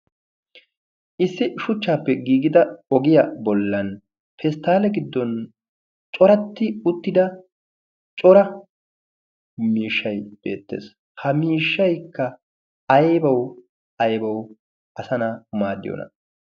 Issi shuchchaappe giigida ogiya bollan pesttaale giddon coratti uttida cora miishshay beettees. Ha miishshaykka aybawu aybawu asa na'aa maaddiyoona?